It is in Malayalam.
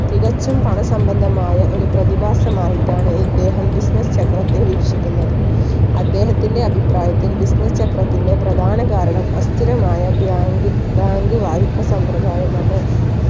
തികച്ചും പണ സംബന്ധമായ ഒരു പ്രതിഭാസമായിട്ടാണ് ഇദ്ദേഹം business ചക്രത്തെ വീക്ഷിക്കുന്നത്. അദ്ദേഹത്തിന്റെ അഭിപ്രായത്തിൽ business ചക്രത്തിന്റെ പ്രധാന കാരണം അസ്ഥിരമായ bank bank വായ്‌പ സമ്പ്രദായമാണ്